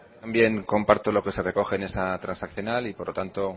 comparto lo que se recoge en esa transaccional y por lo tanto